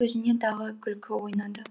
көзінен тағы күлкі ойнады